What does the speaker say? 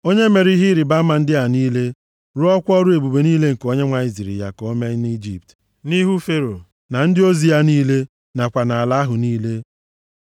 onye mere ihe ịrịbama ndị a niile, rụọkwa ọrụ ebube niile nke Onyenwe anyị ziri ya ka o mee nʼIjipt, nʼihu Fero, na ndị ozi ya niile, nakwa nʼala ahụ niile.